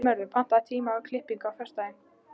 Náttmörður, pantaðu tíma í klippingu á föstudaginn.